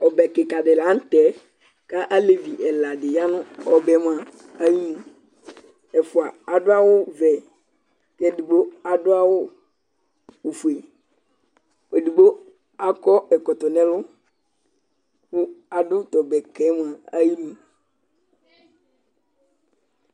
Ɔbɛ kika di la n'tɛ k'alevi ɛla di ya nʋ ɔbɛ mua ayinu Ɛfua adʋ awʋ vɛ, k 'edigbo adʋ awʋ ofue, ɛdigbo akɔ ɛkɔtɔ n'ɛlʋ kʋ adʋ t'ɔbɛ kɛ mua ayinu